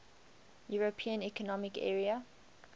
european economic area